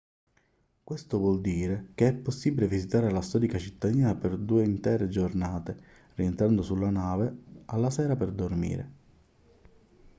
questo vuol dire che è possibile visitare la storica cittadina per due intere giornate rientrando sulla nave alla sera per dormire